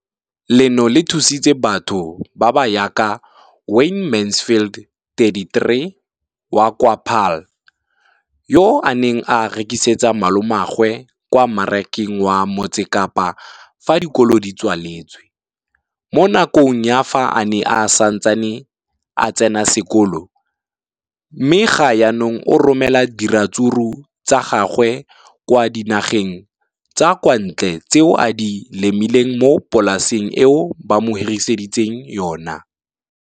Leno le thusitse batho ba ba jaaka Wayne Mansfield, 33, wa kwa Paarl, yo a neng a rekisetsa malomagwe kwa Marakeng wa Motsekapa fa dikolo di tswaletse, mo nakong ya fa a ne a santse a tsena sekolo, mme ga jaanong o romela diratsuru tsa gagwe kwa dinageng tsa kwa ntle tseo a di lemileng mo polaseng eo ba mo hiriseditseng yona.